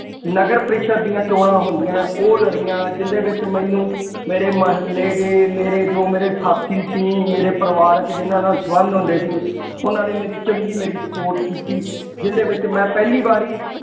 ਨਗਰ ਪਰਿਸ਼ਦ ਦੀਆਂ ਚੋਣਾਂ ਹੁੰਦੀਆਂ, ਉਹ ਲੜੀਆਂ, ਜਿਹਦੇ ਵਿੱਚ ਮੈਨੂੰ ਮੇਰੇ ਮੁਹੱਲੇ ਦੇ, ਮੇਰੇ ਜੋ ਮੇਰੇ ਸਾਥੀ ਸੀ, ਮੇਰੇ ਪਰਿਵਾਰਕ ਜਿੰਨਾ ਨਾਲ ਸੰਬੰਧ ਹੁੰਦੇ ਸੀ। ਉਹਨਾ ਨੇ ਮੇਰੀ ਚੰਗੀ ਮੇਰੀ support ਕੀਤੀ। ਜਿਹਦੇ ਵਿੱਚ ਮੈਂ ਪਹਿਲੀ ਵਾਰੀ